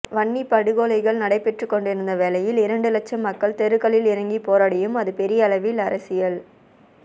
வன்னிப் படுகொலைகள் நடைபெற்றுக்கொண்டிருந்த வேளையில் இரண்டு லட்சம் மக்கள் தெருக்களில் இறங்கிப் போராடியும் அது பெரிய அளவில் அரசியல்